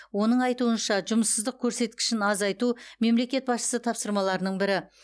оның айтуынша жұмыссыздық көрсеткішін азайту мемлекет басшысы тапсырмаларының бірі